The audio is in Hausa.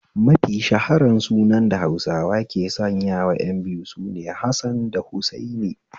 Mafi shaharan sunan da Hausawa ke sanyawa ƴan biyu sune 'Hassan da Hussaini'